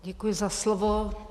Děkuji za slovo.